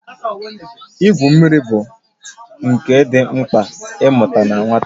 Igwu mmiri bụ nka dị mkpa ị mụta na nwata